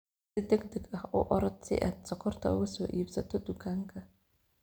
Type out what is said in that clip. Si degdeg ah u orod si aad sonkorta uga soo iibsato dukaanka.